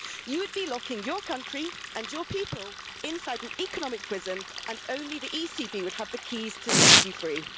You would be locking your country and your people inside an economic prison and only the ECB would have the keys to set you free.